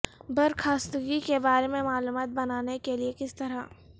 برخاستگی کے بارے میں معلومات بنانے کے لئے کس طرح